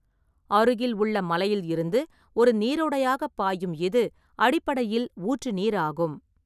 அருகில் உள்ள மலையில் இருந்து ஒரு நீரோடையாகப் பாயும் இது அடிப்படையில் ஊற்று நீர் ஆகும்.